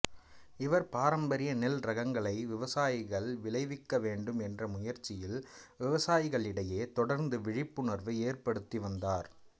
இவர் பாரம்பரிய நெல் இரகங்களை விவசாயிகள் விளைவிக்க வேண்டும் என்ற முயற்சியில் விவசாயிகளிடையே தொடர்ந்து விழிப்புணர்வு ஏற்படுத்தி வந்தார்